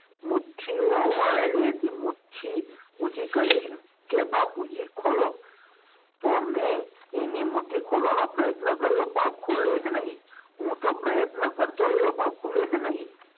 મુઠ્ઠીઓ વાળેલી હતી મુઠ્ઠી ઊંચી કરીને કે બાપુજી ખોલો તો મેં એની મુઠ્ઠી ખોલવાનો પ્રયત્ન કર્યો પણ મુઠ્ઠી ખૂલે જ નહીં હું તો પ્રયત્ન કરતો રહ્યો પણ ખૂલે જ નહીં.